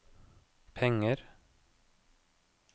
penger